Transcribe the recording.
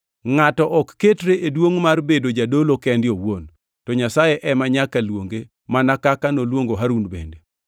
Ngʼato ok ketre e duongʼ mar bedo jadolo kende owuon, to Nyasaye ema nyaka luonge mana kaka noluongo Harun bende.